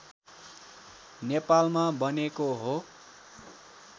नेपालमा बनेको हो